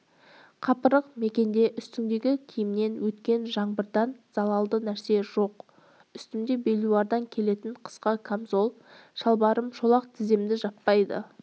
қапырық мекенде үстіңдегі киімнен өткен жаңбырдан залалды нәрсе жоқ үстімде белуардан келетін қысқа қамзол шалбарым шолақ тіземді жаппайды